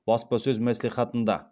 баспасөз мәслихатында